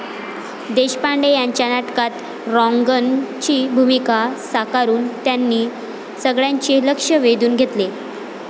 देशपांडे यांच्या नाटकात 'रॉन्गन' ची भूमिका साकारून त्यांनी सगळ्यांचे लक्ष्य वेधून घेतले.